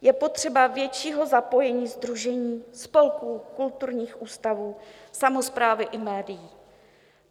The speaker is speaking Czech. Je potřeba většího zapojení sdružení, spolků, kulturních ústavů, samosprávy i médií.